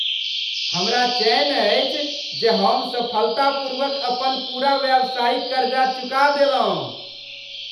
हमरा चैन अछि जे हम सफलतापूर्वक अपन पूरा व्यावसायिक करजा चुका देलहुँ।